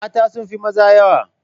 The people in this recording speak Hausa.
Mata sun fi maza yawa.